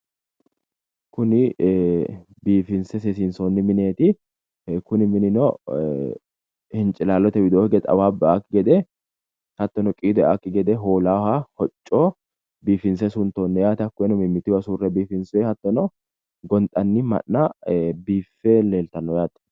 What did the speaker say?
Kuni bifinse seessinsoonni mineeti kuni minino hincilalllote widoo hige xawaabbu eaakki gede hattono qiidu eaakki gede hoolaaha hocco biifinse suntoonni yaate. Hattono gonxanni ma’na biiffe leeltanno yaate.